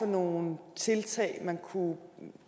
nogle tiltag man kunne